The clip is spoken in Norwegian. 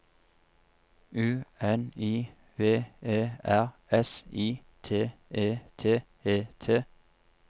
U N I V E R S I T E T E T